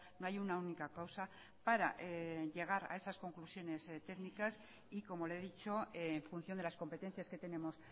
no hay una única causa para llegar a esas conclusiones técnicas y como le he dicho en función de las competencias que tenemos